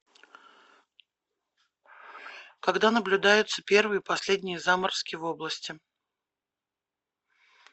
когда наблюдаются первые и последние заморозки в области